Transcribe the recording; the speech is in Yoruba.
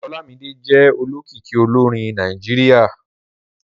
Olámídé jẹ́ olókìkí olórin Nàìjíríà